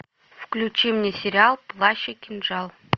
включи мне сериал плащ и кинжал